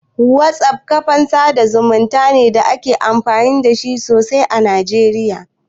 WhatsApp kafan sa da zumunta ne da ake amfani da sosai a Najeriya.